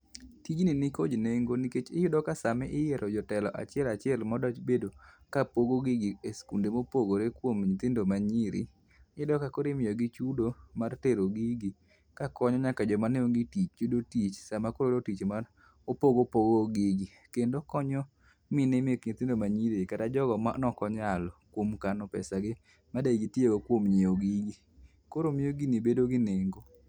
Tijni nikod nengo nikech iyudo ka sama iyiero jotelo achiel achiel mabedo kapogo gigi e skunde mopogore kuom nyithindo manyiri, iyudo kakoro imiyogi chudo mar tero gigi kakonyo nyaka joma aonge tich yudo tich sama koro oyudo tich mar opogo opogo gigi. Kendo okonyo mine mek nyithindo manyirigi kata jogo mane ok onyalo kuom kano pesagi mane gitiyogo kuom nyiew gigi, koro miyo gini bedo gi nengo